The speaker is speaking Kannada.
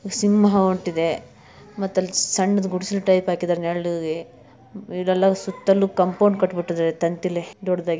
ಸಿಂಹ ಹೊಂಟ್ಟಿದೆ ಮತ್ತೆಅಲ್ಲಿ ಸಣ್ಣದ್ ಗುಡಿಸಲ್ ಟೈಪ್ ಹಾಕಿದ್ದಾರೆ ನೆರಳಿಗೆ ಇದೆಲ್ಲಾ ಸುತ್ತಲೂ ಕಾಂಪೌಂಡ್ ಕಟ್ಟಬಿಟ್ಟಿದ್ದರೆ ತಂತಿಲಿ ದೊಡ್ಡದಾಗಿ.